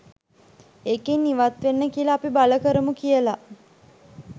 ඒකෙන් ඉවත් වෙන්න කියලා අපි බල කරමු කියලා